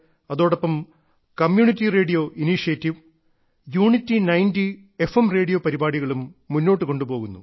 അതോടൊപ്പം community radio initiative unity 90 F M radio പരിപാടികളും മുന്നോട്ട് കൊണ്ടുപോകുന്നു